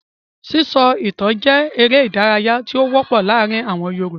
Sísọ ìtan jẹ́ eré-idárayá tó wọ́pọ̀ láàárin àwọn Yorùbá.